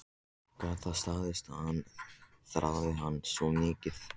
Gat það staðist að hann þráði hana svona mikið?